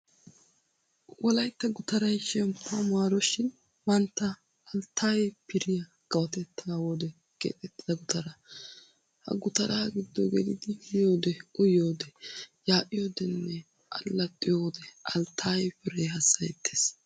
Wolaytta gutaray ''shemppuwaa maaroshin'' mantta Alttayee Firiya kawotettaa wode keexettida gutara. Ha gutaraa giddo gelidi miyoodee, uyiyoodee, yaa'iyoodeenne allaxxiyo wode Alttaye Firee hassayettees.